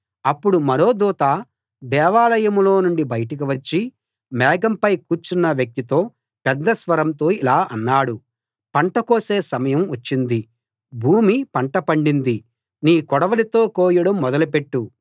అప్పుడు మరో దూత దేవాలయంలో నుండి బయటకు వచ్చి మేఘంపై కూర్చున్న వ్యక్తితో పెద్ద స్వరంతో ఇలా అన్నాడు పంట కోసే సమయం వచ్చింది భూమి పంట పండింది నీ కొడవలితో కోయడం మొదలుపెట్టు